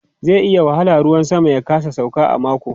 Zai yi wahala ruwan sama ya kasa sauka a mako.